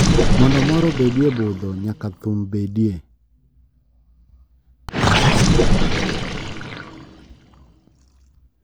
Mondo mor obedie budho nyaka thum bedie.